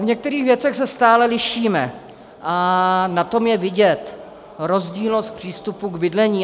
V některých věcech se stále lišíme a na tom je vidět rozdílnost přístupu k bydlení.